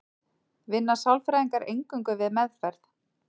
Vinna sálfræðingar eingöngu við meðferð?